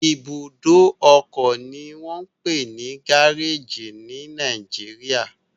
Ibùdó ọkọ ni wọ́n ń pè ní gáréèjì ní Nàìjíríà